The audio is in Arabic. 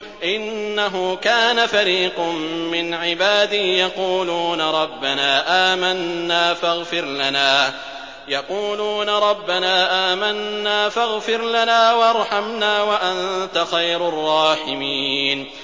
إِنَّهُ كَانَ فَرِيقٌ مِّنْ عِبَادِي يَقُولُونَ رَبَّنَا آمَنَّا فَاغْفِرْ لَنَا وَارْحَمْنَا وَأَنتَ خَيْرُ الرَّاحِمِينَ